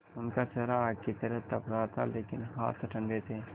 उनका चेहरा आग की तरह तप रहा था लेकिन हाथ ठंडे थे